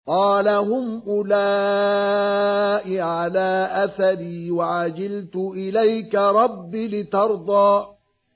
قَالَ هُمْ أُولَاءِ عَلَىٰ أَثَرِي وَعَجِلْتُ إِلَيْكَ رَبِّ لِتَرْضَىٰ